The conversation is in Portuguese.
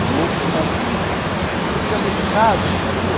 de outra fazenda e tinha muita casa nessa rua?